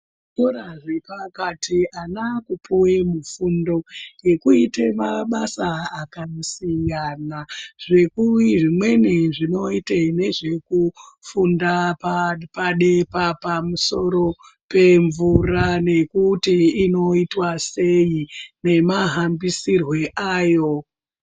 Zvikora zvepakati ana akupuwe fundo yekuite mabasa akasiyana zvimweni zvinoite nezvekufunda pamusoro pemvura nekuti inoitwa sei nemahambisirwo ayo.